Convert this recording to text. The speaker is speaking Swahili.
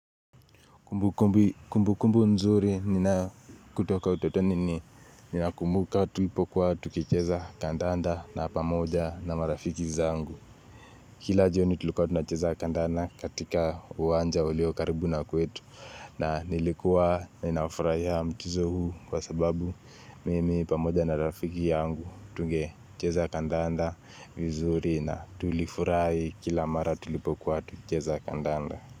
Kumbu kumbu nzuri ninayo kutoka utotoni ni nina kumbuka tulipokuwa tukicheza kandanda na pamoja na marafiki zangu. Kila joni tulikuwa tunacheza kandanda katika uwanja uliokaribu na kwetu, na nilikuwa nina furahia mchezo huu kwa sababu mimi pamoja na rafiki yangu tungecheza kandanda vizuri na tulifurahi kila mara tulipokuwa tukicheza kandanda.